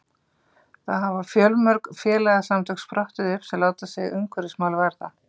þá hafa fjölmörg félagasamtök sprottið upp sem láta sig umhverfismál varða